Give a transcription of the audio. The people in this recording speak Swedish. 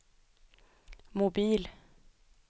mobil